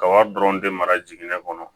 Ka wari dɔrɔn de mara jiginɛ kɔnɔ